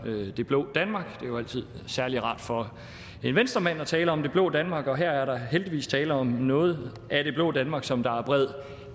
det blå danmark det er jo altid særlig rart for en venstremand at tale om det blå danmark og her er der heldigvis tale om noget af det blå danmark som der er bred